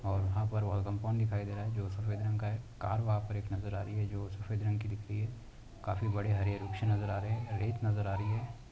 और वहाँ पर वह कम्पाउंड दिखाई दे रहा है जो सफ़ेद रंग का है कार वहाँ पर एक नजर आ रही है जो सफ़ेद रंग की दिख रही है। काफी बड़े हरे वृक्ष नजर आ रहे हैं। रेत नजर आ रही है ।